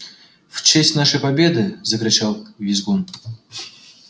в честь нашей победы закричал визгун